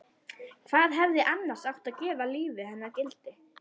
Hvað hefði annars átt að gefa lífi hennar gildi?